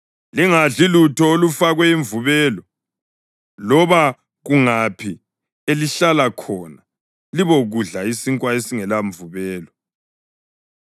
Lingadli lutho olufakwe imvubelo. Loba kungaphi elihlala khona libokudla isinkwa esingelamvubelo.”